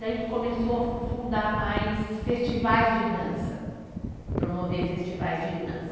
Daí que começou a fundar mais festivais de dança, promover festivais de dança.